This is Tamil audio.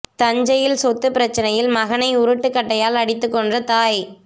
தஞ்சையில் சொத்து பிரச்சனையில் மகனை உருட்டுக் கட்டையால் அடித்துக் கொன்ற தாய்